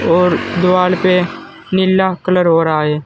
और दीवाल पे नीला कलर हो रहा है।